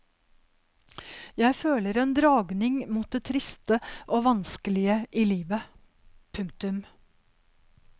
Jeg føler en dragning mot det triste og vanskelige i livet. punktum